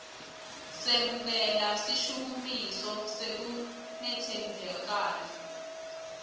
semukela sishukumiso sekungetsembakali